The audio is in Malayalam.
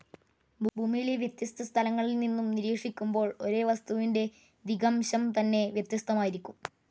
ഭൂമിയിലെ വ്യത്യസ്ത സ്ഥലങ്ങളിൽ നിന്നും നിരീക്ഷിക്കുമ്പോൾ ഒരേ വസ്തുവിന്റെ ദിഗംശം തന്നെ വ്യത്യസ്തമായിരിക്കും.